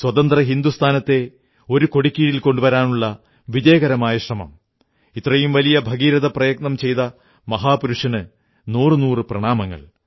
സ്വതന്ത്ര ഹിന്ദുസ്ഥാനത്തെ ഒരു കൊടിക്കീഴിൽ കൊണ്ടുവരാനുള്ള വിജയകരമായ ശ്രമം ഇത്രയും വലിയ ഭഗീരഥ പ്രയത്നം ചെയ്ത മഹാപുരുഷന് നൂറുനൂറു പ്രണാമങ്ങൾ